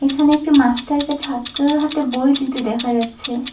এখানে একটি মাস্টার কে ছাত্রর হাতে বই দিতে দেখা যাচ্ছে।